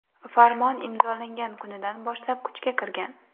Farmon imzolangan kunidan boshlab kuchga kirgan.